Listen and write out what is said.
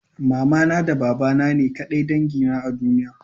Mamana da babana ne ƙadai dangi na a duniya?